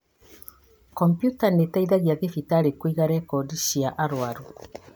Komputa nĩĩteithagia thibitarĩ kũiga rekondi cia arwaru